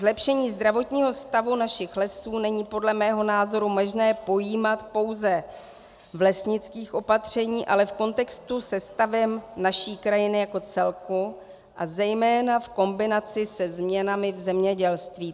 Zlepšení zdravotního stavu našich lesů není podle mého názoru možné pojímat pouze v lesnických opatřeních, ale v kontextu se stavem naší krajiny jako celku a zejména v kombinaci se změnami v zemědělství.